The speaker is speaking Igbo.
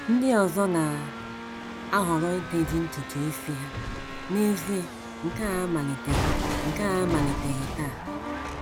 Ndị ọzọ na - ahọrọ iteji ntutu isi ha, n’ezie nke a amaliteghị nke a amaliteghị taa.